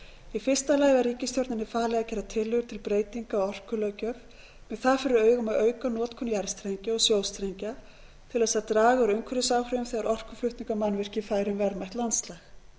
í fyrsta lagi var ríkisstjórninni falið að gera tillögur til breytinga á orkulöggjöf með það fyrir augum að auka notkun jarðstrengja og sjóstrengja til þess að draga úr umhverfisáhrifum þegar orkuflutningamannvirki færu um verðmætt landslag